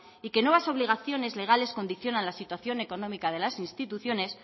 y que nuevas obligaciones legales condicionan la situación económica de las instituciones